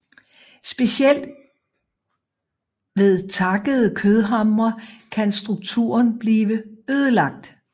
Specielt ved takkede kødhamre kan strukturen blive ødelagt